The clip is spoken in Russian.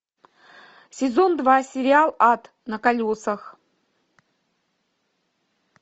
сезон два сериал ад на колесах